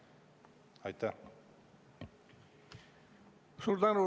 Suur tänu!